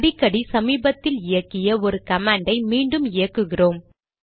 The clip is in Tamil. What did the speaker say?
அடிக்கடி சமீபத்தில் இயக்கிய ஒரு கமாண்டை மீண்டும் இயக்குகிறோம்